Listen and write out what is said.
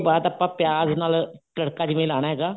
ਬਾਅਦ ਆਪਾਂ ਪਿਆਜ ਨਾਲ ਤੜਕਾ ਜਿਵੇਂ ਲਾਉਣਾ ਹੈਗਾ